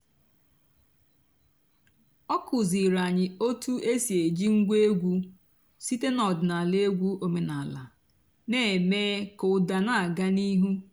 ọ́ kụ́zíìrí ànyị́ ótú é sì èjí ǹgwá ègwú sìté n'ọ̀dị́náàlà ègwú òménàlà nà-èmée kà ụ́dà nà-àgá n'íìhú.